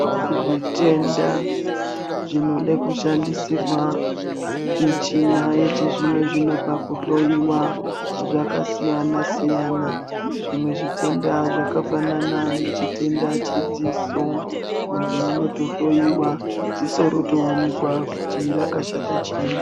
Zvitenda zvinoda kushandisirwa michina yechizvinozvino pakuhloiwa zvakasiyana -siyana zvimwe zvitenda zvakafanana nechitenda chedziso muntu unondohliwa dziso rotoonekwa kuti rakashata chii.